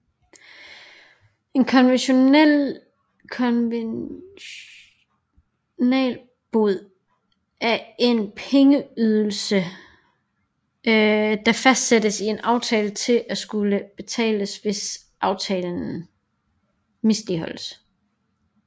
En konventionalbod er en pengeydelse der fastsættes i en aftale til at skulle betales hvis aftalen misligholdes